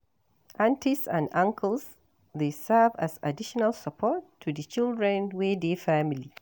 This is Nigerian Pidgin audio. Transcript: Aunties and uncles dey serve as additional support to di children wey dey family